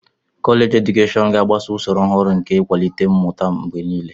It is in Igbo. Kọleji edukeshọn ga-agbaso usoro ọhụrụ nke ịkwalite mmụta mgbe niile.